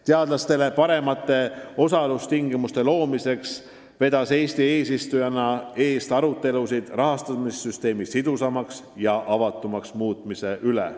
Teadlastele paremate osalustingimuste loomiseks vedas Eesti eesistujana arutelusid rahastamissüsteemi sidusamaks ja avatumaks muutmise üle.